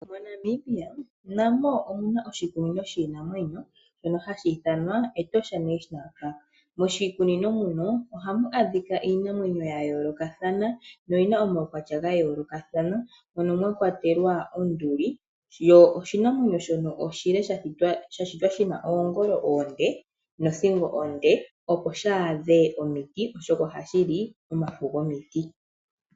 MoNamibia namo omuna oshikunino shiinamwenyo shono haku ithanwa Etosha national park, moshikunino muno ohamu adhika iinamwenyo ya yoolokothana noyina omaukwatya ga yoolokathana mono mwa kwatelwa onduli, yo oshinanwenyo shono shitwa shina oongolo oonde nothingo onde opo shaadhe omiti oshoka ohashili omafo gomiti.